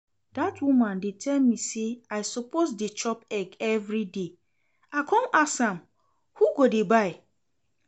That woman dey tell me say I suppose dey chop egg everyday, I come ask am who go dey buy?